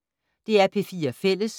DR P4 Fælles